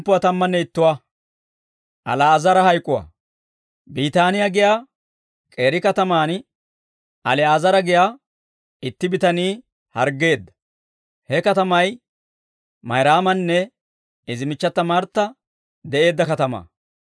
Biitaaniyaa giyaa k'eeri katamaan Ali'aazara giyaa itti bitanii harggeedda; he katamay Mayraamanne izi michchata Martta de'eedda katamaa.